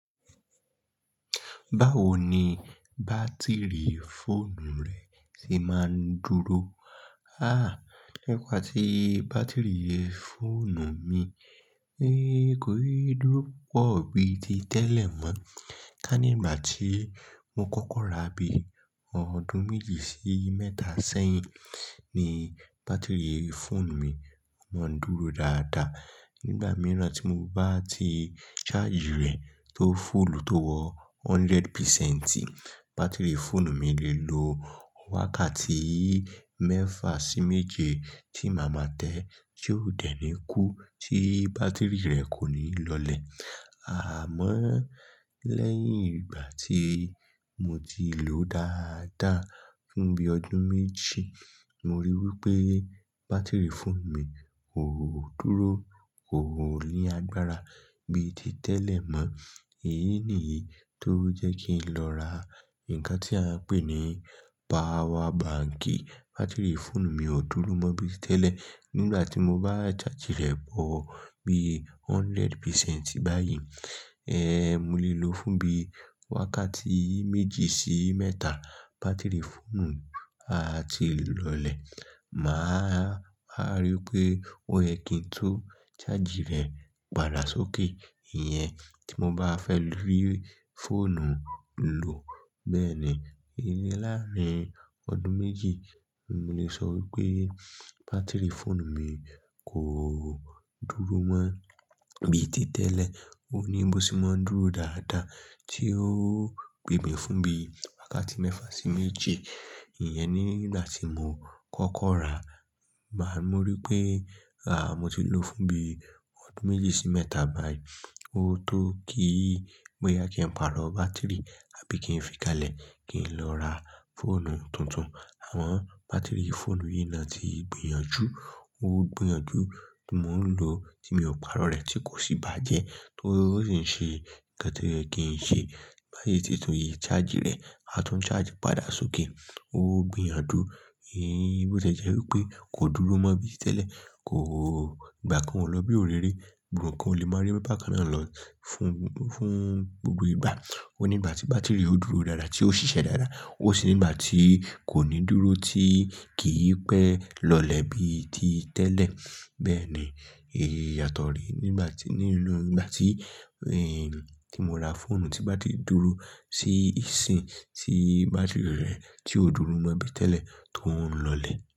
Bawo ni batiri fonu re se ma n duro? Ha nigba ti batiri fonu mi ko n duro pupo biti tele mo, kani igba ti mo koko ra bi odun meji si meta seyin ni batiri fonu mi mo n duro daadaa nigba miran ti mo ba ti chargi re o fulu to wo hundred picenti, batiri fonu mi le lo wakati mefa si meje ti maa ma te ti ko de ni ku ti batiri re koni lole, amon leyin igba ti mo ti lo daadaa fun bi odun meji mo ri wipe batiri fonu mi ko duro koni agbara bii ti tele mo eyi niyi lo je ki n ro ra nkan ti a n pe ni pawa banki chargi re wo bi hundred picenti bayii, mo le lo fun bi wakati meji si meta, batiri fonu a ti lole maa wa ri pe o ye ki n tun chargi re pada soke iyen ti mo ba fe ri fonu lo beeni, iyen laarin odun meji, mo le so wipe batiri fonu mi ko duro mo biti tele o ni bo se mo n duro daadaa o le gbe mi fun bi wakati mefa si meje iyen ni igba ti mo koko ra, igba ti mo ri pe mo ti lo fun bi odun meji si meta bayii o to ki, boya ki n paro batiri abi ki n fi kale ki n lo ra fonu tuntun, amon batiri fonu yi na ti gbiyanju, o gbiyanju, mo n lo ti mio paro re ti kosi baje, to si n se nkan to ye ki n se, bayii ti tun chargi re atun chargi pada soke o gbiyanju boti e jewipe ko duro mo biti tele ko igba kan o lo bi orere rere igba kan o le ma ri bakan na lo fun gbogbo igba, o ni igba ti batiri re yo duro ti yo sise daadaa, o si ni igba ti koni duro ti kii pe lole biti tele beeni iyato ni mo ra fonu si batiri re ko duro mo bi ti tele to n lole.